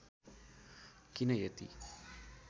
किन यति